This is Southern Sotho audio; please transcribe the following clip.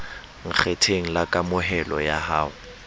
nkgetheng la kamohelo ya ho